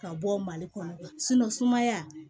Ka bɔ mali kɔnɔ sumaya